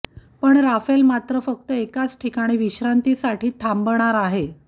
पण राफेल मात्र फक्त एकाच ठिकाणी विश्रांतीसाठी थांबणार आहे